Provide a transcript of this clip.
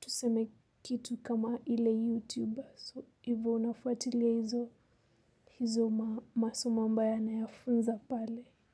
tuseme kitu kama ile YouTube. So hivyo unafuatilia hizo masomo ambayo anayafunza pale.